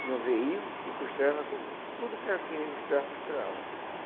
Tinha um veinho que costurava com tudo que era que costurava, costurava.